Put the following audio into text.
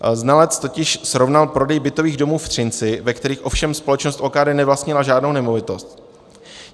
Znalec totiž srovnal prodej bytových domů v Třinci, ve kterých ovšem společnost OKD nevlastnila žádnou nemovitost.